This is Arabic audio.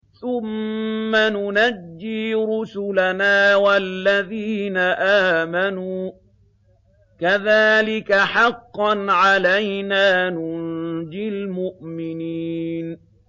ثُمَّ نُنَجِّي رُسُلَنَا وَالَّذِينَ آمَنُوا ۚ كَذَٰلِكَ حَقًّا عَلَيْنَا نُنجِ الْمُؤْمِنِينَ